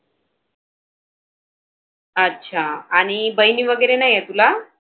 अच्छा. आणि बहिणी वगैरे नाही आहे तुला?